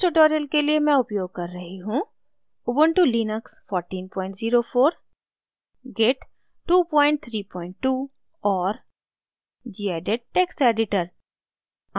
इस tutorial के लिए मैं उपयोग कर रही हूँ